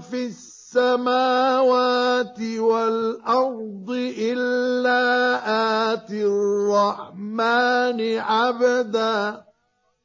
فِي السَّمَاوَاتِ وَالْأَرْضِ إِلَّا آتِي الرَّحْمَٰنِ عَبْدًا